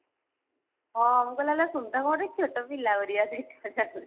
ହଁ ମୁଁ କହିଲି ଆଲୋ କଣ ଏତେ ଛୋଟୋ ପିଲା ପରିକା ଦେଖା ଯାଉଛି